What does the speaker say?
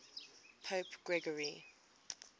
pope gregory